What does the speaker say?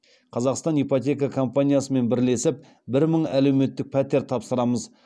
қазақстан ипотека компаниясымен бірлесіп бір мың әлеуметтік пәтер тапсырамыз